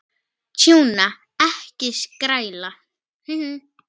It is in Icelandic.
Tjúna, ekki skræla.